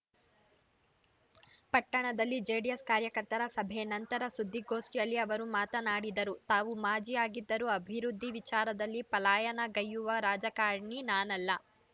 ಪಟ್ಟಣದಲ್ಲಿ ಜೆಡಿಎಸ್‌ ಕಾರ್ಯಕರ್ತರ ಸಭೆ ನಂತರ ಸುದ್ದಿಗೋಷ್ಠಿಯಲ್ಲಿ ಅವರು ಮಾತನಾಡಿದರು ತಾವು ಮಾಜಿಯಾಗಿದ್ದರೂ ಅಭಿವೃದ್ಧಿ ವಿಚಾರದಲ್ಲಿ ಪಲಾಯನಗೈಯುವ ರಾಜಕಾರಣಿ ನಾನಲ್ಲ